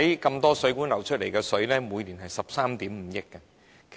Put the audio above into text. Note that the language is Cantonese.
眾多水管漏出的水，每年達13億 5,000 萬立方米。